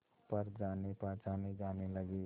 पर जानेपहचाने जाने लगे